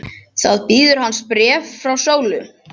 Þá bíður hans bréf frá Sólu.